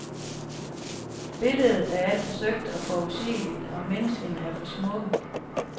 Billedet er alt for søgt og forudsigeligt, og menneskene er for smukke.